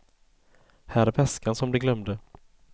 Här är väskan som de glömde.